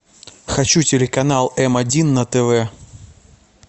хочу телеканал м один на тв